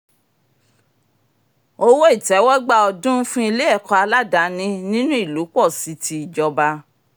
owó ìtẹ́wọ́gbà ọdún fún ile-ẹ̀kọ́ aládani nínú ìlú pọ̀ sí ti ìjọba